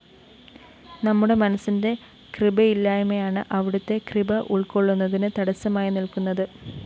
നമ്മുടെ മനസ്സിന്റെ കൃപയില്ലായ്മയാണ് അവിടുത്തെ കൃപ ഉള്‍ക്കൊള്ളുന്നതിന് തടസ്സമായി നില്‍ക്കുനത്